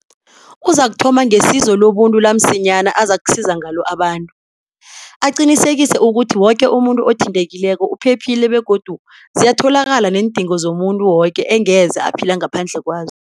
Uzakuthoma ngesizo lobuntu lamsinyana azakusiza ngalo abantu, aqinisekise ukuthi woke umuntu othintekileko uphephile begodu ziyatholakala neendingo zomuntu woke engeze aphila ngaphandle kwazo.